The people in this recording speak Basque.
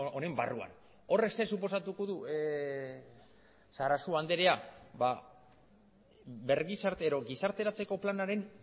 honen barruan horrek zer suposatuko du sarasua andrea bergizartero gizarteratzeko planaren